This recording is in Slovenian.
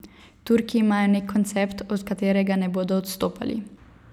Turki imajo nek koncept, od katerega ne bodo odstopali.